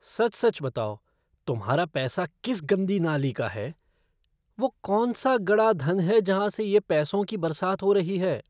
सच सच बताओ तुम्हारा पैसा किस गंदी नाली का है? वो कौन सा गड़ा धन है जहाँ से ये पैसों की बरसात हो रही है।